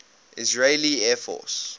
israeli air force